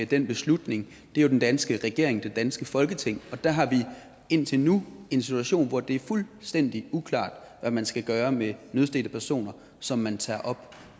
den beslutning er jo den danske regering og det danske folketing og der har vi indtil nu en situation hvor det er fuldstændig uklart hvad man skal gøre med nødstedte personer som man tager op